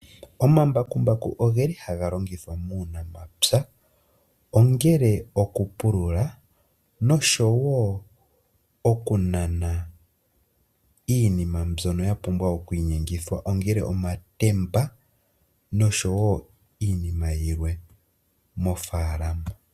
Omambakumbaku oge li haga longithwa muunamapya ongele okupulula noshowo okunana iinima mbyoka ya pumbwa oku inyengithwa, ongele etemba noshowo iinima yilwe mofalama.